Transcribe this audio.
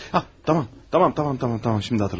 Ha, tamam, tamam, tamam, tamam, tamam, indi xatırladım.